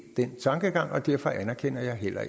den tankegang og derfor anerkender jeg heller